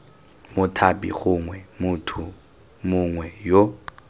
mothapi gongwe motho mongwe yo